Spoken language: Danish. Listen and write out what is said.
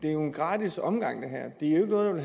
er jo en gratis omgang det er ikke noget